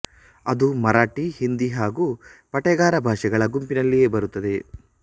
ಅದು ಮರಾಠಿ ಹಿಂದಿ ಹಾಗೂ ಪಟೇಗಾರ ಭಾಷೆಗಳ ಗುಂಪಿನಲ್ಲಿಯೇ ಬರುತ್ತದೆ